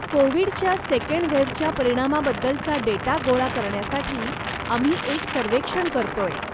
कोविडच्या सेकंड वेव्हच्या परिणामाबद्दलचा डेटा गोळा करण्यासाठी आम्ही एक सर्वेक्षण करतोय.